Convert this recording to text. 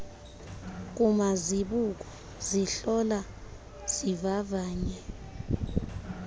kumazibuko zihlola zivavanye